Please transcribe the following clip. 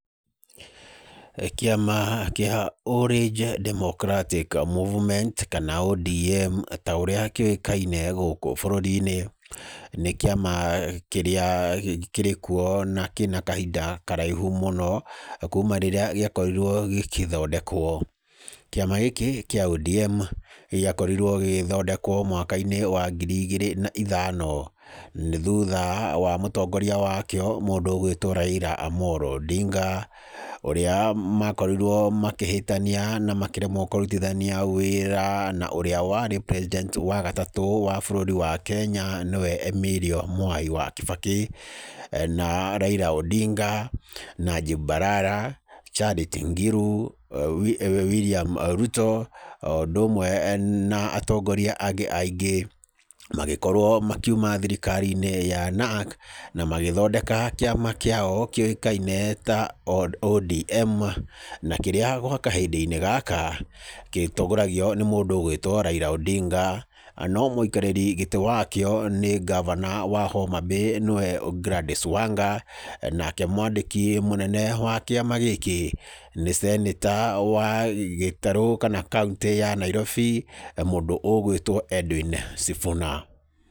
Kĩama gĩa Orange Democratic Movement, kana ODM ta ũrĩa kĩũkaine gũkũ bũrũri-inĩ, nĩ kĩama kĩrĩa kĩrĩ kuo na kĩna kahinda karaihu mũno, kuuma rĩrĩa gĩakorirwo gĩkĩthondekwo. Kĩama gĩkĩ kĩa ODM, gĩakorirwo gĩgĩthondekwo mwaka-inĩ wa ngiri igĩrĩ na ithano. Nĩ thutha wa mũtongoria wa kĩo mũndũ ũgũĩtwo Raila Odinga, ũrĩa makorirwo makĩhĩtania na makĩremwo kũrutithania wĩra, na ũrĩa warĩ president wa gatatũ wa bũrũri wa Kenya nĩwe Emilio Mwai wa Kibaki, na Raila Odinga, Najib Balala, Charity Ngilu, William Ruto, o ũndũ ũmwe na atongoria angĩ aingĩ. Magĩkorwo makiuma thirikari-inĩ ya NARC, na magĩthondeka kĩama kĩao kĩũkaine ta ODM, na kĩrĩa gwa kahinda-inĩ gaka gĩtongoragia nĩ mũndũ ũgũĩtwo Raila Odinga. No mũikarĩri gĩtĩ wa kĩo, nĩ ngavana wa Homabay nĩwe Gladys Wanga. Nake mwandĩki mũnene wa kĩama gĩkĩ, nĩ cenĩta wa gĩtarũ kana kauntĩ ya Nairobi, mũndũ ũgũĩtwo Edwin Sifuna.